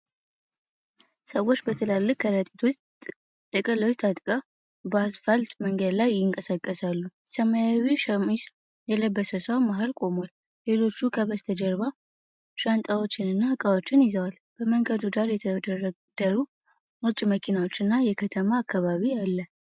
ሰዎች በትላልቅ ከረጢቶችና ጥቅሎች ታጭቀው በአስፋልት መንገድ ላይ ይንቀሳቀሳሉ። ሰማያዊ ሸሚዝ የለበሰ ሰው መሃል ቆሟል፤ ሌሎች ከበስተጀርባ ሻንጣዎችንና ዕቃዎችን ይዘዋል። በመንገዱ ዳር የተደረደሩ ነጭ መኪናዎችና የከተማ አካባቢ አለ።